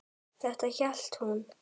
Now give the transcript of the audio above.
Þetta hélt hún.